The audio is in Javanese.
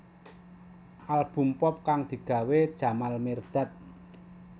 Album pop kang digawé Jamal Mirdad